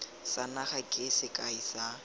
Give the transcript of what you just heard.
sa naga ke sekai sa